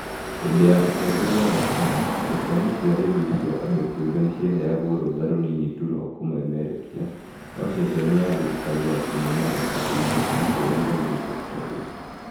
Hindi ya utongoria wa KANũ , ceceni cia redio cia andũ kĩũmbe nĩ ciaheagwo rũtha rũnini tu rwa kũ memerekia no ceceni ya thirikari ya kumemerekia (KBC) ndĩa giragio kũruta wira